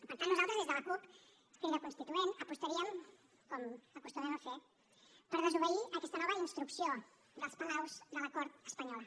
per tant nosaltres des de la cup crida constituent apostaríem com acostumem a fer per desobeir aquesta nova instrucció dels palaus de la cort espanyola